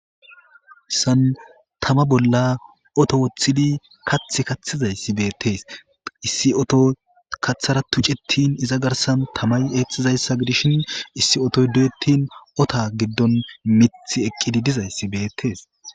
santama bolla oto woththidi kath kaththizayssi beettees issi oto kaththara tucettin iza garsan tamay eexxizayssa gidishin issi otoy du7ettin ota giddon mithi eqqidi dizayssi beettees